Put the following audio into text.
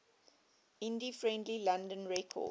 indie friendly london records